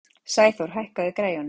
Sæþór, hækkaðu í græjunum.